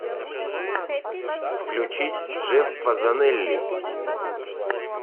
включить джеффа занелли